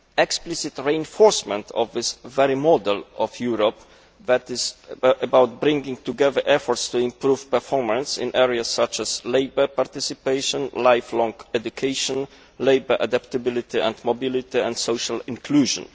explicit reinforces this very model of Europe by bringing together efforts to improve performance in areas such as labour participation, lifelong education, labour adaptability and mobility and social inclusion.